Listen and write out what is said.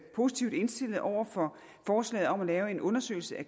positivt indstillede over for forslaget om at lave en undersøgelse af